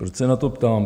Proč se na to ptám?